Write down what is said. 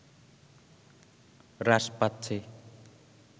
হ্রাস পাচ্ছে